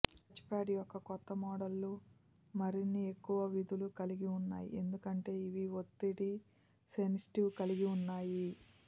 touchpad యొక్క కొత్త మోడళ్లు మరిన్ని ఎక్కువ విధులు కలిగి ఉన్నాయి ఎందుకంటే ఇవి ఒత్తిడి సెన్సిటివ్ కలిగి ఉన్నాయి